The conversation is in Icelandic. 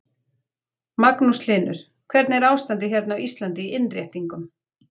Magnús Hlynur: Hvernig er ástandið hérna á Íslandi í innréttingum?